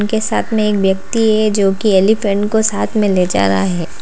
के साथ में एक व्यक्ति है जोकि एलीफेंट को साथ में ले जा रहा है।